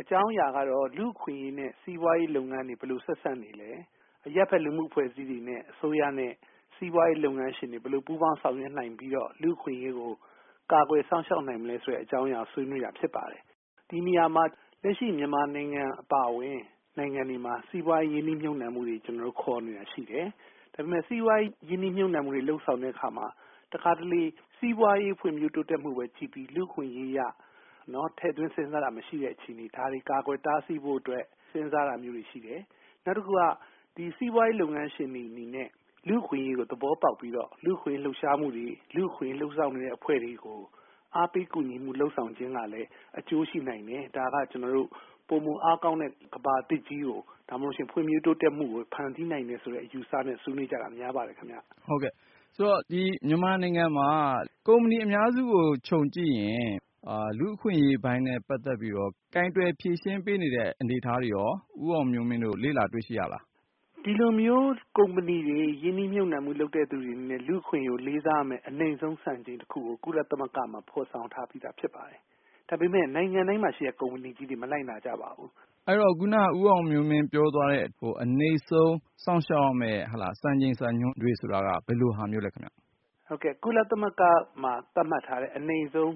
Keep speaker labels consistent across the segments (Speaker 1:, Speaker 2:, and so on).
Speaker 1: အကြောင်းအရာကတော့ လူ့အခွင့်အရေးနဲ့ စီးပွားရေးလုပ်ငန်းတွေ ဘယ်လို ဆက်စပ်နေသလဲ၊ အရပ်ဘက် လူမှုအဖွဲ့အစည်းတွေနဲ့ အစိုးရနဲ့ စီးပွားရေးလုပ်ငန်းရှင်တွေ ဘယ်လိုပူးပေါင်းဆောင်ရွက်နိုင်ပြီးတော့ လူ့အခွင့်အရေးကို ကာကွယ်စောင့်ရှောက်နိုင်မလဲ ဆိုတဲ့အကြောင်းအရာကို ဆွေးနွေးတယ်။ ဒီနေရာမှာ လက်ရှိမြန်မာနိုင်ငံအပါအဝင် စီးပွားရေး ရင်းနှီးမြှုပ်နှံမှုတွေ ခေါ်နေတာရှိတယ်။ ဒါပေမယ့် စီးပွားရေးရင်းနှီးမြှုပ်နှံမှုတွေ လုပ်ဆောင်တဲ့အခါမှာ တခါတလေ စီးပွားရေးဖွံ့ဖြိုးတိုးတက်မှုပဲကြည့်ပြီး လူ့အခွင့်အရေးကို ထည့်သွင်းစဉ်းစားတာမရှိတ ဲ့အခြေအနေ ၊ ဒါတွေကို ကာကွယ်တားဆီးဖို့အတွက် စဉ်းစားတာတွေရှိတယ်။ နောက်တခုက ဒီစီးပွားရေးလုပ်ငန်းရှင်တွေနဲ့ လူ့အခွင့်အရေးလို့ သဘောပေါက်ပြီးတော့ လူ့အခွင့်အရေး လှုပ်ရှားမှုတွေ လူ့အခွင့်အရေးလုပ်ဆောင်နေတဲ့အဖွဲ့တွေကို အားပေးကူညီမှုလုပ်ဆောင်ခြင်းကလည်း အကျိုးရှိနိုင်တယ်။ ဒါက ကျနော်တို့ ပိုမိုအားကောင်းတဲ့ ကမ္ဘာသစ်ကို ဒါမှ မဟုတ်ရင်လည်း ဖွံ့ဖြိုးတိုးတက်မှုကို ဖန်တီးနိုင်တယ်ဆိုတဲ့ အယူအဆနဲ့ ဆွေးနွေးတာ များပါတယ်ခင်ဗျ။
Speaker 2: ကိုဉာဏ်ဝင်းအောင်။ ။ မြန်မာနိုင်ငံမှာ ကုမ္ပဏီအများစုကို ခြုံကြည့်ရင် လူ့အခွင့်အရေးပိုင်းနဲ့ ပတ်သက်ပြီးတော့ ကိုင်တွယ်ဖြေရှင်းပေးနေတဲ့အနေအထားတွေရော ဦးအောင်မျိုးမင်းတို့ လေ့လာတွေ့ရှိရသလား။ ဦးအောင်မျိုးမင်း။ ။ ဒီလို
Speaker 1: ကုမ္ပဏီတွေ ရင်းနှီးမြှုပ်နှံတဲ့သူတွေအနေနဲ့ လူ့အခွင့်အရေး လေးစားလိုက်နာရမယ့် အနိမ့်ဆုံးစံချိန်တခုကို ကုလသမဂ္ဂမှာ ဖော်ဆောင်ထားပြီးသားဖြစ်ပါတယ်။ ဒါပေမယ့် နိုင်ငံတိုင်းမှာ ရှိတဲ့ ကုမ္ပဏီကြီးတွေ မလိုက်နာကြပါဘူး။ က
Speaker 2: ိုဉာဏ်ဝင်းအောင်။ ။ အဲဒီတော့ ခုနက ဦးအောင်မျိုးမင်း ပြောသွားတဲ့ အနိမ့်ဆုံးစောင့်ရှောက်ရမယ့် စံချိန်စံညွှန်းတွေဆိုတာ ဘယ်လိုဟာမျိုးလဲခင်ဗျ။ ဦးအောင်မျ
Speaker 1: ိုးမင်း။ ။ ကုလသမဂ္ဂမှာ သတ်မှတ်ထားတဲ့ အနိမ့်ဆုံး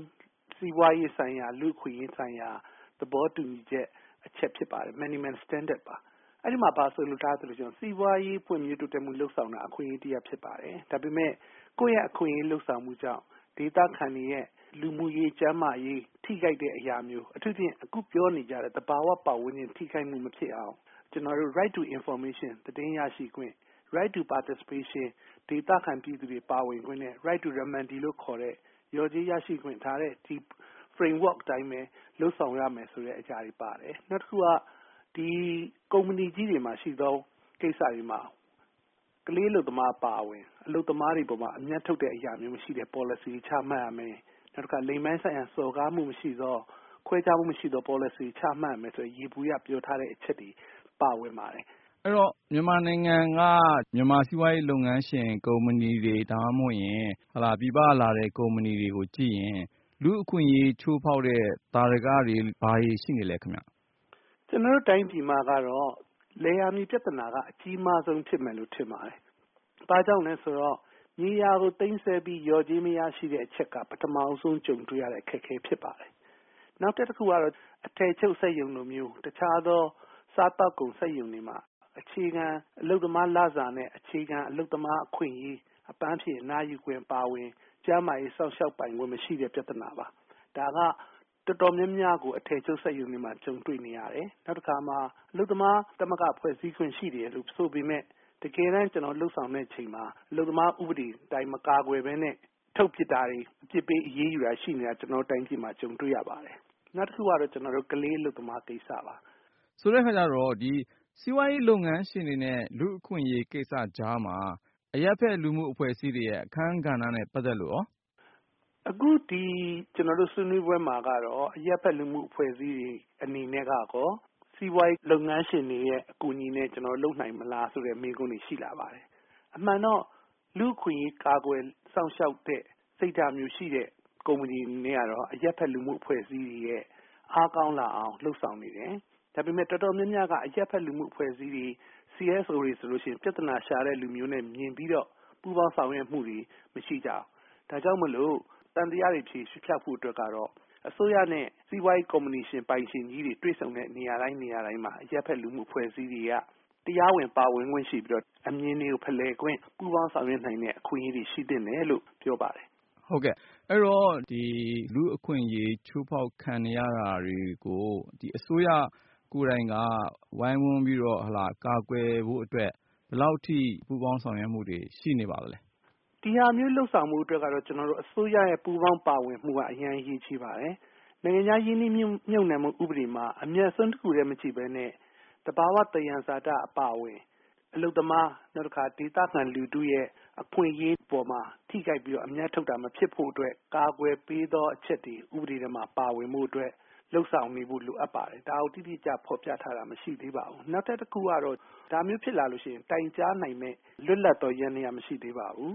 Speaker 1: စီးပွားရေးဆိုင်ရာ လူ့အခွင့်အရေးဆိုင်ရာ သဘောတူဦချက်အချက်တချက်ဖြစ်ပါတယ်။ minimum standard ပါ အဲဒီမှာ ဘာဆိုလိုထားသလဲဆိုတော့ စီးပွားရေး ဖွံ့ဖြိုးတိုးတက်မှုလုပ်ဆောင်တာက အခွင့်အရေးတရပ်ဖြစ်ပါတယ်။ ဒါပေမယ့် ကိုယ့်အခွင့်အရေးလုပ်ဆောင်မှုကြောင့် ဒေသခံတွေ ရဲ့ လူမှုရေး၊ ကျန်းမာရေး ထိခိုက်တဲ့အရာမျိုး အထူးသဖြင့် အခုပြောနေတဲ့ သဘာဝပတ်ဝန်းကျင် ထိခိုက်မှုမဖြစ်အောင် ကျနော်တို့ Right to Information သတင်းရရှိခွင့်၊ Right to Participation ဒေသခံပြည်သူတွေပါဝင်ခွင့် Right to Remedy လျော်ကြေးရရှိခွင့် ဒီ Frame work အတိုင်း လုပ်ဆောင်ရမယ့်အရာတွေပါတယ်။ နောက်တခုက ကုမ္ပဏီကြီးတွေမှာ တချို့သောကိစ္စမှာ ကလေးအလုပ်သမားအပါအဝင် အလုပ်သမားတွေအပေါ် အမြတ်ထုတ်တဲ့အရာမျိုးမရှိတဲ့ Policy တွေချမှတ်ရမယ်၊ နောက်တခါ လိင်ပိုင်းဆိုင်ရာ စော်ကားမှုမရှိသော ခွဲခြားမှုမရှိသော Policy တွေချမှတ်ရမယ် ဆိုတဲ့ ယေဘုယျအချက်တွေပါဝင်ပါတယ်။
Speaker 2: ကိုဉာဏ်ဝင်းအောင်။ ။ မြန်မာနိုင်ငံက မြန်မာစီးပွားရေးလုပ်ငန်းရှင်ကုမ္ပဏီတွေ ဒါမှမဟုတ် ပြည်ပကလာတဲ့ ကုမ္ပဏီတွေကိုကြည့်ရင် လူ့အခွင့်အရေးချိုးဖောက်တဲ့ သာဓကတွေ ဘာတွေရှိနေပါသလဲ။ ဦးအောင်မျိုးမင်း။
Speaker 1: ။ ကျနော်တို့တိုင်းပြည်မှာတော့ လယ်ယာမြေ ပြဿနာကတော့ အကြီးမားဆုံးဖြစ်မယ်လို့ ထင်ပါတယ်။ ဘာကြောင့်လဲဆိုတော့ မြေယာကို သိမ်းဆည်းပြီး လျော်ကြေးမရရှိတဲ့ အချက်က ပထမဦးဆုံးကြုံတွေ့ရတဲ့ အခက်အခဲဖြစ်ပါတယ်။ နောက်ထပ်တခုကတော့ အထည်ချုပ်စက်ရုံလိုမျိုးတခြားသော စားသောက်ကုန်စက်ရုံတွေမှာ အခြေခံအလုပ်သမားလစာတွေနဲ့ အခြေခံ အလုပ်သမားအခွင့်အရေး ၊ အပန်းဖြေအနားယူခွင့်အပါအဝင် ကျန်းမာရေး စောင့်ရှောက်ပိုင်ခွင့် မရှိတဲ့ ပြဿနာပါ။ ဒါက တော်တော်များများကို အထည်ချုပ် စက်ရုံတွေမှာ ကြုံတွေ့နေရတယ်။ နောက်တခါ အလုပ်သမား သမဂ္ဂ ဖွဲ့စည်းခွင့်ရှိတယ်ဆိုပေမယ့် တကယ်တမ်းကျနော်တို့ လုပ်ဆောင်တဲ့အချိန်မှာ အလုပ်သမား ဥပဒေအတိုင်း မကာကွယ်ပဲနဲ့ ထုတ်ပစ်တာတွေ အပြစ်ပေးအရေးယူတာတွေ ရှိတာ ကျနော်တို့ တိုင်းပြည်မှာ ကြုံနေရပါတယ်။ နောက်တခုကတော့ ကလေးအလုပ်သမားကိစ္စပါ။
Speaker 2: ကိုဉာဏ်ဝင်းအောင်။ ။ဆိုတဲ့အခါကျတော့စီးပွားရေးလုပ်ငန်းရှင်တွေနဲ့ လူ့အခွင့်အရေးကိစ္စကြားမှာ အရပ်ဖက်လူမှု့အဖွဲ့အစည်းတွေရဲ့ အခန်းကဏ္ဍနဲ့ ပတ်သက်လို့ရော။
Speaker 1: ဦးအောင်မျိုးမင်း။ ။ ကျနော်တို့ဆွေးနွေးပွဲမှာက အရပ်ဖက်လူမှု့အဖွဲ့အစည်းတွေ အနေနဲ့ကရောစီးပွားရေးလုပ်ငန်းရှင်တွေရဲ့ အကူအညီနဲ့ ကျနော်တို့ လုပ်နိုင်မလား ဆိုတဲ့မေးခွန်းတွေရှိလာပါတယ်။ အမှန်တော့ လူ့အခွင့်အရေး ကာကွယ်စောင့်ရှောက်တဲ့ စိတ်ထားမျိုးရှိတဲ့ ကုမ္ပဏီတွေအနေနဲ့ကတော့ အရပ်ဖက်လူမှု့အဖွဲ့အစည်းတွေအားကောင်းလာအောင် လုပ်ဆောင်နေတယ်။ ဒါပေမယ့် တော်တော်များများက အရပ်ဖက်လူမှု့အဖွဲ့အစည်းတွေCSO တွေဆိုရင် ပြဿနာရှာတဲ့လူတွေအမြင်နဲ့ မြင်ပြီးတော့ ပူးပေါင်းဆောင်ရွက်မှုတွေမရှိကြဘူး။ ဒါကြောင့် သံသယတွေ ဖျောက်ဖို့အတွက်ကတော့ အစိုးရနဲ့ စီးပွားရေး ကုမ္ပဏီရှင်တွေ တွေ့ဆုံတဲ့ နေရာတိုင်းမှာ အရပ်ဖက်လူမှုအဖွဲ့အစည်းတွေက တရားဝင် ပါဝင်ခွင့်ရှိပြီးတော့ အမြင်ဖလှယ်ခွင့်၊ ပူးပေါင်းဆောင်ရွက်နိုင်တဲ့ အခွင့်အရေးတွေရှိသင့်တယ်လို့ ပြောပါတယ်
Speaker 2: ။ ကိုဉာဏ်ဝင်းအောင်။ ။ အဲဒီတော့ လူ့အခွင့်အရေးချိုးဖောက်ခံနေရတာ တွေကို အစိုးရ ကိုယ်တိုင်က ဝိုင်းဝန်းပြီးတော့ ကာကွယ်ဖို့အတွက် ဘယ်လောက်အထိ ပူးပေါင်းဆောင်ရွက်မှုတွေရှိနေပါသလဲ
Speaker 1: ။ ဦးအောင်မျိုးမင်း။ ။ ဒါမျိုးလုပ်ဆောင်ဖို့အတွက်တော့ ကျနော်တို့ အစိုးရရဲ့ ပူးပေါင်းပါဝင်မှုက အရေးကြီးပါတယ်။ နိုင်ငံခြားရင်းနှီးမြုပ်နှံမှု ဥပဒေမှာ အမြတ်အစွန်းတခုတည်းမကြည့်ပဲနဲ့ သဘာ၀ သံယံဇာတအပါအဝင် အလုပ်သမား နောက်တခါ ဒေသခံလူထုရဲ့ အခွင့်အရေးအပေါ်မှာ ထိခိုက်ပြီးတော့ အမြတ်ထုတ်တာ မဖြစ်ဖို့အတွက် ကာကွယ်ပေးသောအချက်တွေ ဥပဒေထဲမှာ ပါဝင်ဖို့အတွက် လုပ်ဆောင်ဖို့အတွက် လိုအပ်ပါတယ် ဒါကို တိတိကျကျ ဖော်ပြထားတာ မရှိသေးပါဘူး။ နောက်ထပ်တခုကတော့ ဒါမျိုးဖြစ်လာရင် တိုင်ကြားနိုင်မယ့် လွတ်လပ်သော ယန္တယားမရှိသေးပါဘူး